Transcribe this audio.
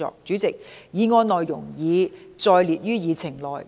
主席，議案內容已載列於議程內。